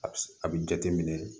A bi a bi jate minɛ